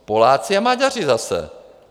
Poláci a Maďaři zase!